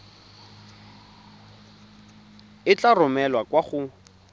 e tla romelwa kwa go